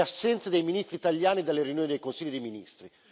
Le assenze dei ministri italiani dalle riunioni del Consiglio dei ministri.